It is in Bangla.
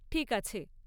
ঠিক আছে!